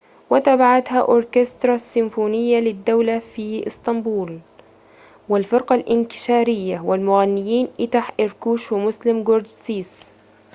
وتبعتها أوركسترا السيمفونية للدولة في إسطنبول والفرقة الإنكشارية والمغنيين اتح إركوش ومسلم جورسيس